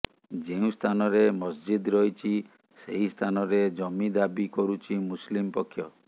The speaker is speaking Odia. ଯେଉଁ ସ୍ଥାନରେ ମସଜିଦ୍ ରହିଛି ସେହି ସ୍ଥାନରେ ଜମି ଦାବି କରୁଛି ମୁସଲିମ୍ ପକ୍ଷ